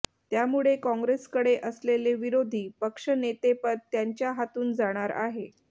त्यामुळे काँग्रेसकडे असलेले विरोधी पक्षनेतेपद त्यांच्या हातून जाणार आहे